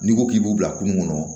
N'i ko k'i b'u bila kungo kɔnɔ